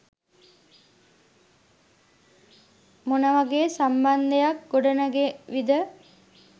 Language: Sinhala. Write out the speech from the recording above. මොන වගේ සම්බන්ධයක් ගොඩනැගේවිද?